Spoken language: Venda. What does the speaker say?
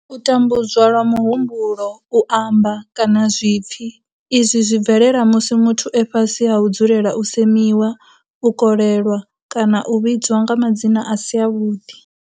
U tambudzwa lwa muhumbulo, u amba, kana zwipfi, Izwi zwi bvelela musi muthu e fhasi ha u dzulela u semiwa, u kolelwa kana u vhidzwa nga madzina a si avhuḓi.